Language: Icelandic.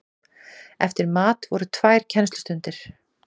Eftir mat voru tvær kennslustundir.